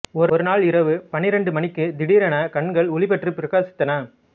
ஒருநாள் இரவு பன்னிரண்டு மணிக்குத் திடீரெனக் கண்கள் ஒளிபெற்றுப் பிரகாசித்தன